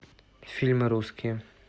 фильмы русские